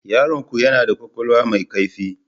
Yaronku yana da kwakwalwa mai kaifi.